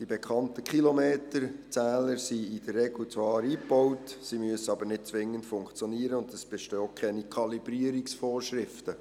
Die bekannten Kilometerzähler sind in der Regel zwar eingebaut, sie müssen aber nicht zwingend funktionieren und es bestehen auch keine Kalibrierungsvorschriften.